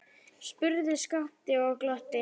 spurði Skapti og glotti.